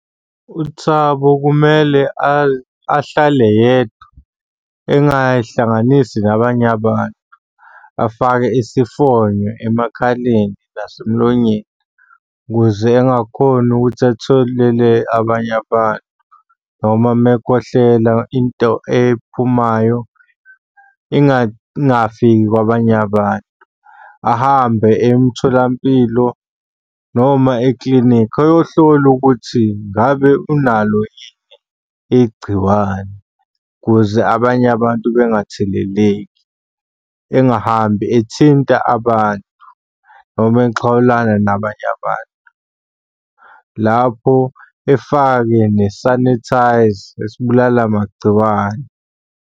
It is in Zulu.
UThabo kumele ahlale yedwa engay'hlanganisi nabanye abantu. Afake isifonyo emakhaleni nasemlonyeni ukuze engakhoni ukuthi athelele abanye abantu, noma uma ekhohlela into ephumayo ingafiki kwabanye abantu. Ahambe eye emtholampilo noma ekilinikhi ayohlola ukuthi ngabe unalo yini igciwane ukuze abanye abantu bengatheleleki. Engahambi ethinta abantu noma exhawulana nabanye abantu. Lapho efake nesanithayza esibulala magciwane.